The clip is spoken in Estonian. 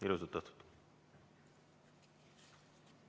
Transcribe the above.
Ilusat õhtut!